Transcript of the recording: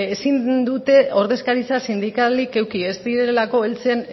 ezin dute ordezkaritza sindikalik eduki ez direlako heltzen